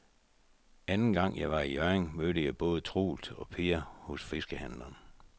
Anden gang jeg var i Hjørring, mødte jeg både Troels og Per hos fiskehandlerne.